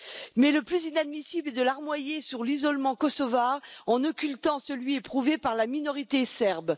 Mais le plus inadmissible est de larmoyer sur l'isolement kosovar, en occultant celui éprouvé par la minorité serbe.